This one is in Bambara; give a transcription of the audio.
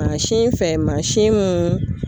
Mansin fɛ mansin mun